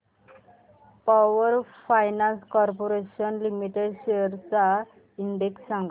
power finance corporation limited shares चा index सांगा